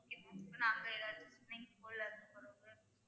Okay ma'am இப்ப நாங்க எதாவது swimming pool